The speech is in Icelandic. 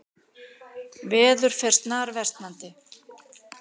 Veður fer snarversnandi